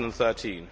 2013